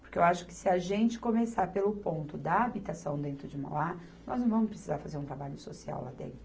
Porque eu acho que se a gente começar pelo ponto da habitação dentro de Mauá, nós não vamos precisar fazer um trabalho social lá dentro.